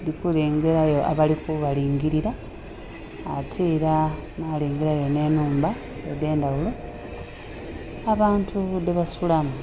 ndhi kulengerayo abali ku balingilila ate era nha lengelayo nhe nhumba edhe ndhaghulo abantu dhe basulamu.